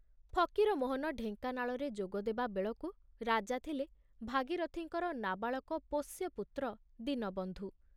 ଫକୀରମୋହନ ଢେଙ୍କାନାଳରେ ଯୋଗଦେବା ବେଳକୁ ରାଜା ଥିଲେ ଭାଗୀରଥିଙ୍କର ନାବାଳକ ପୋଷ୍ୟପୁତ୍ର ଦୀନବନ୍ଧୁ।